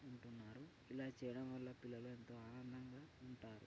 ఉంటున్నారు ఇలా చేయడం వల్ల పిల్లలు ఎంతో ఆనందంగా ఉంటారు.